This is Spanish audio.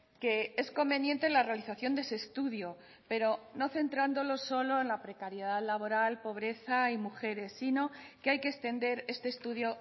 que es conveniente la realización de ese estudio pero no centrándolo solo en la precariedad laboral pobreza y mujeres sino que hay que extender este estudio